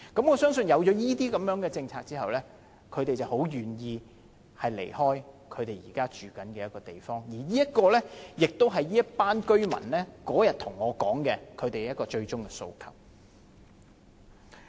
我相信有這些措施後，他們會很願意離開現在居住的地方，而上述的建議亦是這群居民當天跟我說的最終訴求。